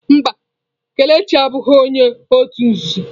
Mba, Kelechi abụghị onye òtù nzuzo.